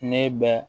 Ne bɛ